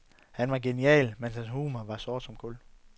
Han var genial, men hans humor var sort som kul.